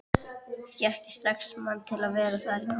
Fékk ég strax mann til að vera þar í nótt.